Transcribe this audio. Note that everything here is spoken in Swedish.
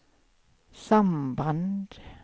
samband